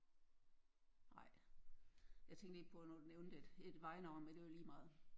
Ej jeg tænkte lige på når du nævnte et et vejnavn men det er jo ligemeget